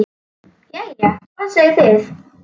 Jæja, hvað segið þið?